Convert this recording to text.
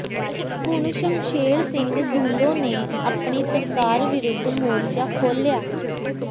ਹੁਣ ਸ਼ਮਸ਼ੇਰ ਸਿੰਘ ਦੂਲੋ ਨੇ ਅਪਣੀ ਸਰਕਾਰ ਵਿਰੁਧ ਮੋਰਚਾ ਖੋਲਿ੍ਹਆ